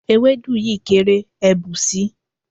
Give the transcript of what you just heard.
Ewédú yìí kéré, ẹ bù si.